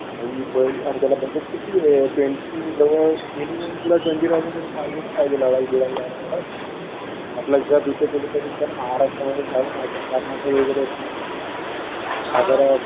भाई पण अरे त्याला बजेट किती आहे ट्वेन्टी जवळ मिनिमम तुला ट्वेन्टी थाउजंड तरी पाहिजेच पाहिजे लडाख बिडाख जायला. आपलं गप इथे कुठंतरी चल महाराष्ट्र मध्ये जाऊ नाहीतर कर्नाटक वगैरे नाहीतर